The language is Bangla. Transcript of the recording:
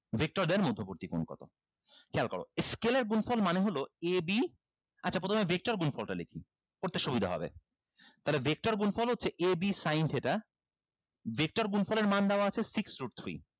vector বুদ্দি কোন কত খেয়াল করো scalar গুণফল এর মানে হলো ab আচ্ছা প্রথমে vector গুনফলটা লেখি করতে সুবিধা হবে তাহলে vector গুণফল হচ্ছে ab sin theta vector গুণফল এর মান দেওয়া আছে six root three